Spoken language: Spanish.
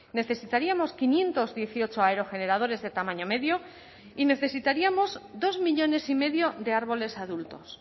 necesitaríamos quinientos dieciocho aerogeneradores de tamaño medio y necesitaríamos dos millónes y medio de árboles adultos